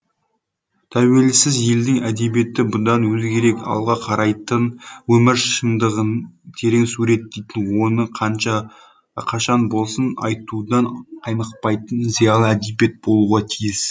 тәуелсіз елдің әдебиеті бұдан өзгерек алға қарайтын өмір шындығын терең суреттейтін оны қашан болсын айтудан қаймықпайтын зиялы әдебиет болуға тиіс